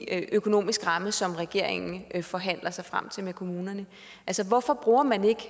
økonomisk ramme som regeringen forhandler sig frem til med kommunerne altså hvorfor bruger man ikke